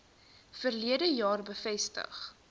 verlede jaar bevestig